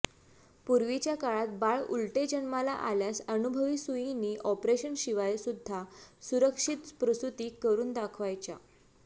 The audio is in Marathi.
पूर्वीच्या काळात बाळ उलटे जन्माला आल्यास अनुभवी सुयीणी ऑपरेशन शिवाय सुद्धा सुरक्षित प्रसूती करून दाखवायच्या